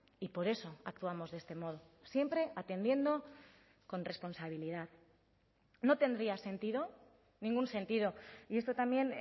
y por eso actuamos de este modo siempre atendiendo con responsabilidad no tendría sentido ningún sentido y esto también